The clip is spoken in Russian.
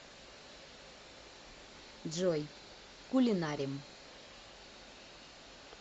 джой кулинарим